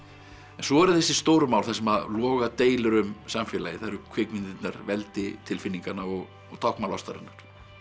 svo eru þessi stóru mál þar sem að loga deilur um samfélagið það eru kvikmyndirnar veldi tilfinninganna og táknmál ástarinnar